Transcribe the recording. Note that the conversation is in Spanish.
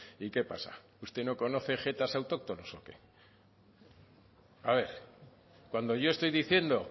y qué pasa usted no conoce jetas autóctonos o qué a ver cuando yo estoy diciendo